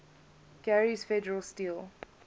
gary's federal steel